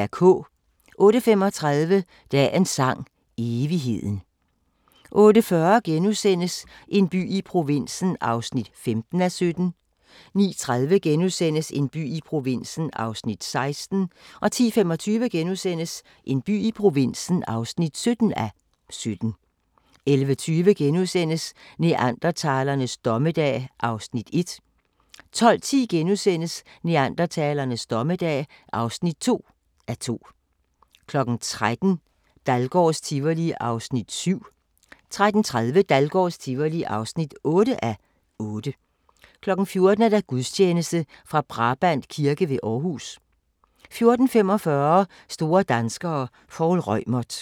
08:35: Dagens Sang: Evigheden 08:40: En by i provinsen (15:17)* 09:30: En by i provinsen (16:17)* 10:25: En by i provinsen (17:17)* 11:20: Neandertalernes dommedag (1:2)* 12:10: Neandertalernes dommedag (2:2)* 13:00: Dahlgårds Tivoli (7:8) 13:30: Dahlgårds Tivoli (8:8) 14:00: Gudstjeneste fra Brabrand Kirke ved Aarhus 14:45: Store danskere - Poul Reumert